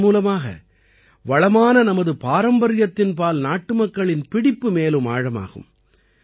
இதன் மூலமாக வளமான நமது பாரம்பரியத்தின்பால் நாட்டுமக்களின் பிடிப்பு மேலும் ஆழமாகும்